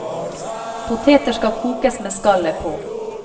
Poteter skal kokes med skallet på.